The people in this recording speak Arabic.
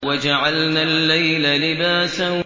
وَجَعَلْنَا اللَّيْلَ لِبَاسًا